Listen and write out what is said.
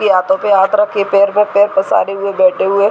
P हाथो पे हाथ रख के पैर में पैर पैसारे हुए बैठे हुए --